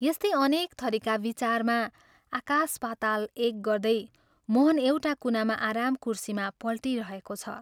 यस्तै अनेक थरीका विचारमा आकाश पाताल एक गर्दै मोहन एउटा कुनामा आराम कुर्सीमा पल्टिरहेको छ।